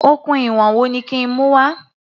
Okùn ìwọ̀n wo ni kí n mú wá?